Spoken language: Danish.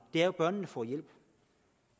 er jo at børnene får hjælp